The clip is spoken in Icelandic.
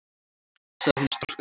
sagði hún storkandi.